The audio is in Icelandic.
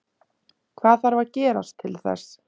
Hvað þarf að gerast til þess?